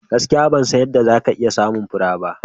Gaskiya! Ban san yadda za ka iya samun fure ba.